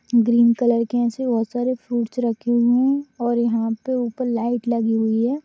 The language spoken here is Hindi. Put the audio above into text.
ग्रीन कलर की ऐसे बहुत सारे फ्रूइट्स रखे हूए है और यहा पे उपल लाइट लगी हुई है।